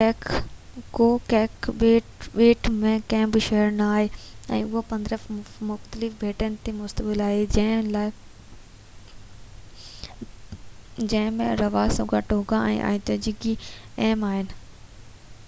ڪوڪ ٻيٽ ۾ ڪي بہ شهر نہ آهن پر اهو 15 مختلف ٻيٽن تي مشتمل آهي جنهن ۾ راروٽونگا ۽ آئيتوتڪي اهم اهن